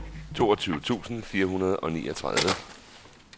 toogtyve tusind fire hundrede og niogtredive